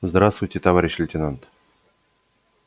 здравствуйте товарищ лейтенант